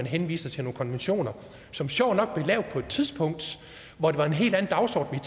henvises til nogle konventioner som sjovt nok blev lavet på et tidspunkt hvor det var en helt anden dagsorden